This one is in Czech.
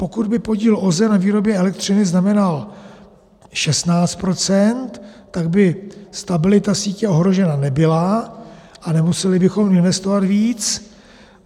Pokud by podíl OZE na výrobě elektřiny znamenal 16 %, tak by stabilita sítě ohrožena nebyla a nemuseli bychom investovat víc.